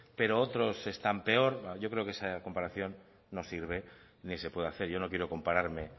pero otros están peor yo creo que esa comparación no sirve ni se puede hacer yo no quiero compararme